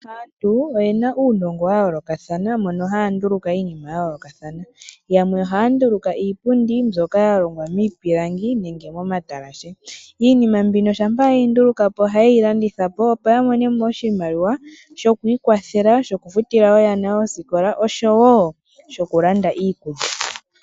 Aantu oyena uunongo wayoolokathana mono haya nduluka iinima yayoolokathana. Yamwe ohaya nduluka iipundi mbyoka yalongwa miipilangi nenge momatalashe. Iijima mbino shampa ye yi nduluka po ohaye yilanditha po opo yamone mo oshimaliwa shokwiikwatha, shoku futila oyana oosikola osho wo shoku landa iikulya.